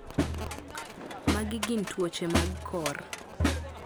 magi gin tuoche mag kor